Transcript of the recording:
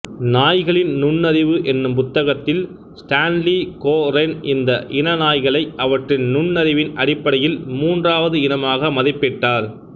நாய்களின் நுண்ணறிவு என்னும் புத்தகத்தில் ஸ்டேன்லி கோரென் இந்த இன நாய்களை அவற்றின் நுண்ணறிவின் அடிப்படையில் மூன்றாவது இனமாக மதிப்பிட்டார்